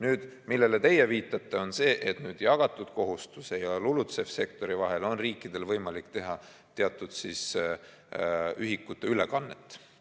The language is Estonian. Nüüd, millele teie viitate, on see, et jagatud kohustuse ja LULUCF‑i sektori vahel on riikidel võimalik teha teatud ühikute ülekannet.